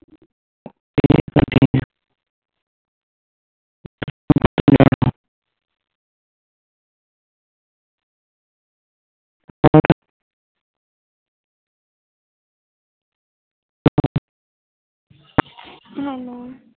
ਹਾਲੋ